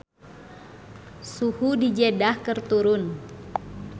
Suhu di Jeddah keur turun